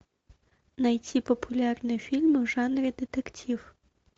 найти популярные фильмы в жанре детектив